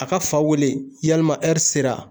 A ka fa wele yalima sera